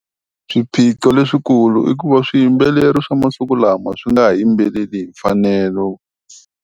Swiphiqo leswikulu i ku va swiyimbeleri swa masiku lama swi nga ha yimbeleli hi mfanelo.